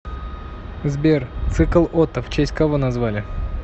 сбер цикл отто в честь кого назвали